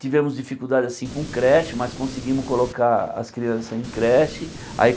Tivemos dificuldade assim com creche, mas conseguimos colocar as crianças em creche. Aí